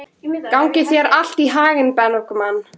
Gangi þér allt í haginn, Bergmar.